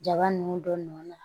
Jaba nun dɔ nɔ na